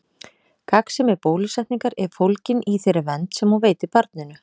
Gagnsemi bólusetningar er fólgin í þeirri vernd sem hún veitir barninu.